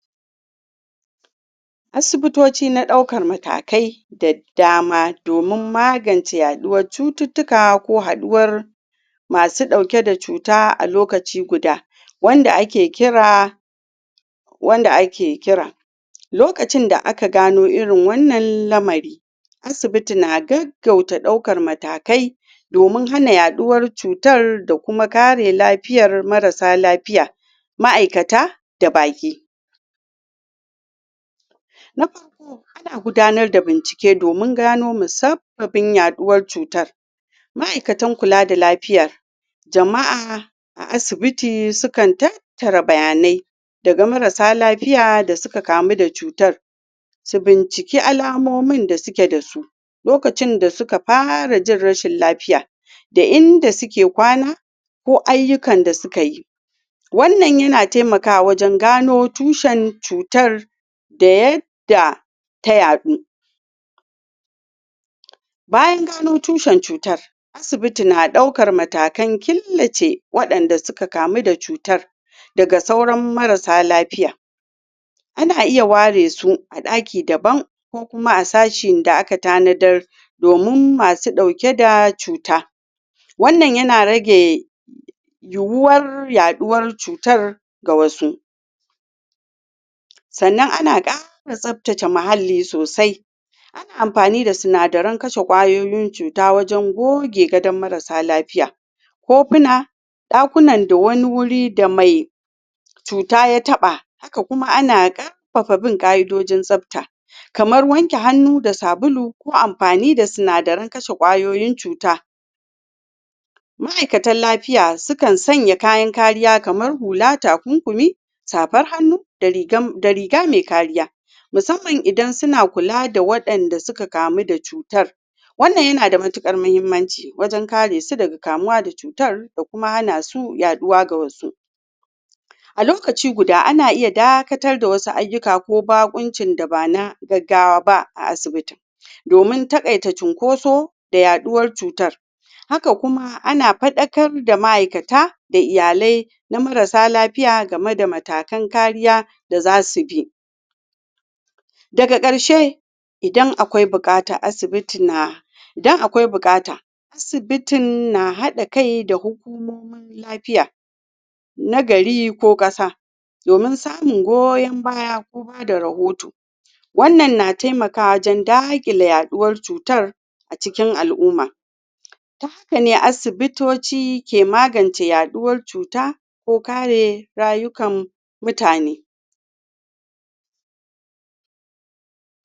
asibitoci na daukar matakai da dama domin magance haduwar cututuka ko haduwar masu dauke da cuta a lokaci guda wanda ake kira wanda ake kira lokacin da aka gano irin wannan lamari asibiti na gaggauta daukar matakai domin hana yaduwar cuta da kuma karewa lafiyar marasa lafiya ma'aikata da baki na farko ana gudanar da bincike domin gano mussababin yaduwar cuta ma'aikatan kula da lafiya jama'a a asibiti sukan tattara bayanai daga marasa lafiyar da suka kamu da cutar su bincike alamomin da suke da su lokacin da suka fara jin rashin lafiya da inda suke kwana ko ayukan da suke yi wannan yana taimakawa wajen gano tushen cutar da yadda ta yaɗu bayan gano tushen cutar asibiti na daukar matakan killace wadanda suka kamu da cutan daga sauran marasa lafiya ana iya ware su a daki daban ko kuma a sashin da aka tanadar domin masu dauke da cuta wannan yana rage yuwa yaɗuwar cutar ga wasu lsannana kara tsaftace mahalli sosai ana amfani da sinadiran kashe kwayoyin cuta wajen goge gadan marasa lafiya kofuna, dakuna da wani wuri da mai cuta ya taba haka kuma ana karfafa ka'idojin tsafta kamar wanke hannu da sabulu ko amfani da sinadiran kashe kwayoyin cuta m'aikatan lafiya sukan sanya kayan kariya kamar hula, takunkumi safar hannu da riga mai kariya musamman idan su ka kula da wadanda suka kamu da cutar wannan yana da matukar muhimmanci wajen kare su daga kamuwa cutar da kuma hana su yaduwa ga wasu a lokaci guda ana iya dakatar da wasu ayuka ko bakonci da ba na gaggawa ba a asibitin domin takaita cunkoso da yaduwar cutar haka kuma ana faɗakar da ma'aikata da iyalai na marasa lafiya game da matakan kariya da zasu bi da ga karshe idan akwai bukata asibiti na idan akwai bukata asibiti na hada kai da hukumomin lafiya na gari ko kasadomin samun goyon baya ko ba da rahoto wannan na taimakawa wajen dakile yaduwar cutar a cikin al'uma ta haka ne asibitoci ke magance yaduwar cuta ko kare rayukan mutane